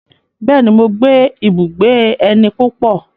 Bẹ́ẹ̀ni, mo gbé ibùgbé ẹni púpọ̀.